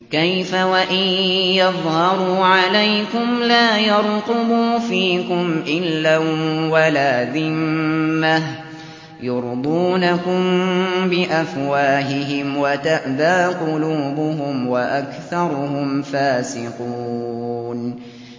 كَيْفَ وَإِن يَظْهَرُوا عَلَيْكُمْ لَا يَرْقُبُوا فِيكُمْ إِلًّا وَلَا ذِمَّةً ۚ يُرْضُونَكُم بِأَفْوَاهِهِمْ وَتَأْبَىٰ قُلُوبُهُمْ وَأَكْثَرُهُمْ فَاسِقُونَ